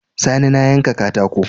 Sani na yanka katako